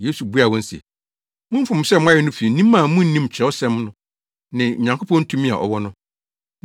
Yesu buaa wɔn se, “Mo mfomso a moayɛ no fi nim a munnim Kyerɛwsɛm no ne Onyankopɔn tumi a ɔwɔ no!